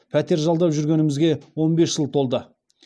пәтер жалдап жүргенімізге он бес жыл толды